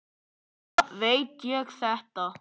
Þess vegna veit ég þetta.